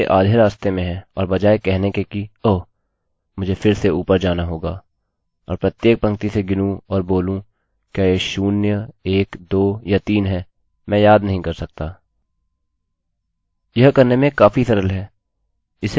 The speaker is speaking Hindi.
तो जब आप प्रोग्राम के आधे रास्ते में हैं और बजाय कहने के कि ओह ! मुझे फिर से सबसे ऊपर जाना होगा और प्रत्येक पंक्ति से गिनूँ और बोलूँ क्या यह शून्य एक दो या तीन हैमैं याद नहीं कर सकता